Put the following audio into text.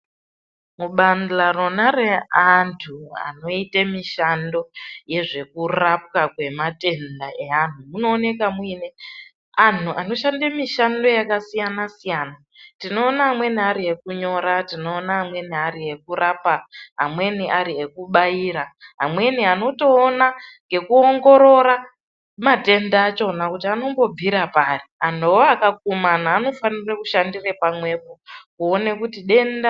Kubandla rona reantu anoita mushando yezvekurapwa kwematenda eanhu, munooneka mune antu anoshanda mishando yakasiyana siyana. Tinoona amweni ari ekunyora. Tinoona amweni ari ekurapa. Amweni ari ekubayira. Amweni anotoona ngekuongorora matenda achona kuti anombobvira pari. Antuwo akakumana anofanire kushandire pamwepo kuone kuti denda rapera.